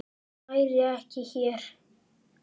Hann væri ekki hér.